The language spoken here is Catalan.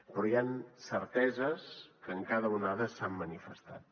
però hi han certeses que en cada onada s’han manifestat